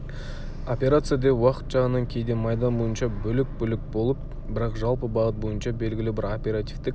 операция деп уақыт жағынан кейде майдан бойынша бөлек-бөлек болып бірақ жалпы бағыт бойынша белгілі бір оперативтік